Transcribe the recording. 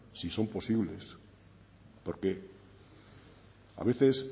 si son posibles porque a veces